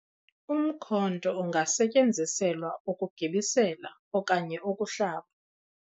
umkhonto ungasetyenziselwa ukugibisela okanye ukuhlaba